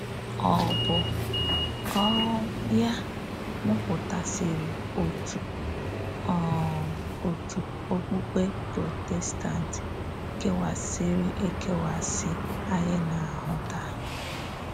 Ọ̀ bụ́ um yá mụ̀pụ̀tasịrị ọ̀tù um ọ̀tù òkpùkpè Protestant kéwàsịrị-ékewàsị ányị na-ahụ̄ tàá?